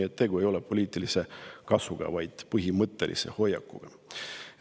Nii et tegu ei ole poliitilise kasuga, vaid põhimõttelise hoiakuga.